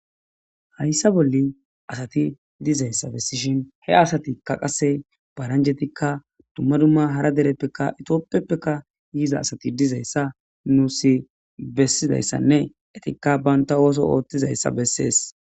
Hayissa bolli assati dizayissa besishini, he assatikka paranijetikka duma duma haara deretika topheppe yidda assati dizayissane entikka banitta osso othizayissa bessesi.